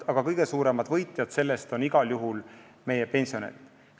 Aga kõige suuremad võitjad on igal juhul pensionärid.